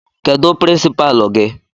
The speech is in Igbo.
Kedụ pirinsipaalu gị?